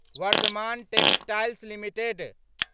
Varthaman textiles limited